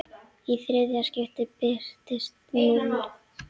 Í þriðja skiptið birtist núll.